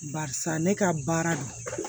Barisa ne ka baara don